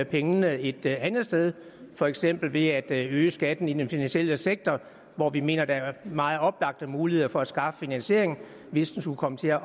pengene et andet sted for eksempel ved at øge skatten i den finansielle sektor hvor vi mener der er meget oplagte muligheder for at skaffe finansiering hvis der skulle komme til at